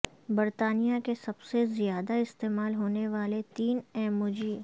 برطانیہ کے سب سے زیادہ استعمال ہونے والے تین ایموجی